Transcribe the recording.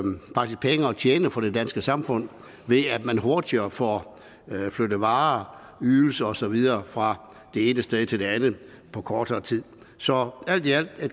tjene for det danske samfund ved at man hurtigere får flyttet varer ydelser og så videre fra det ene sted til et andet på kortere tid så alt i alt er